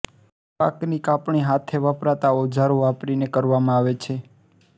પાકની કાપણી હાથે વપરાતા ઓજારો વાપરીને કરવામાં આવે છે